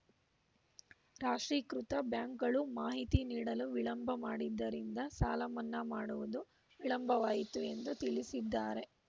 ರಾಷ್ಟ್ರೀಕೃತ ಬ್ಯಾಂಕ್‌ಗಳು ಮಾಹಿತಿ ನೀಡಲು ವಿಳಂಬ ಮಾಡಿದ್ದರಿಂದ ಸಾಲಮನ್ನಾ ಮಾಡುವುದು ವಿಳಂಬವಾಯಿತು ಎಂದು ತಿಳಿಸಿದ್ದಾರೆ